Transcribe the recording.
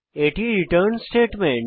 এটি return statement